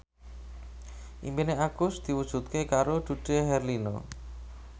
impine Agus diwujudke karo Dude Herlino